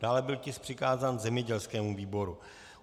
Dále byl tisk přikázán zemědělskému výboru.